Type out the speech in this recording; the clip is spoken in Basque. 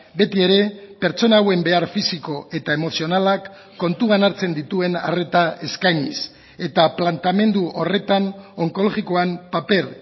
beti ere pertsona hauen behar fisiko eta emozionalak kontuan hartzen dituen arreta eskainiz eta planteamendu horretan onkologikoan paper